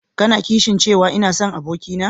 Ka na kishin cewa ina sonki abokina?